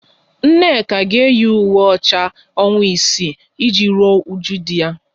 Nneka ga eyi ùwé ọcha ọnwa isii e ji rụọ ụju di ya